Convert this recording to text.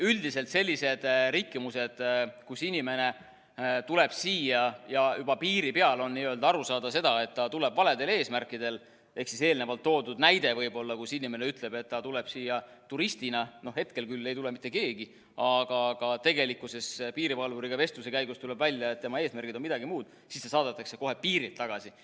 Üldiselt sellised rikkumised, kus inimene tuleb siia ja juba piiri peal on aru saada sellest, et ta tuleb valedel eesmärkidel, ehk siis eelnevalt toodud näide, kus inimene ütleb, et ta tuleb siia turistina – noh, hetkel küll ei tule mitte keegi –, aga piirivalvuriga vestluse käigus tuleb välja, et tema eesmärgid on midagi muud, siis ta saadetakse kohe piirilt tagasi.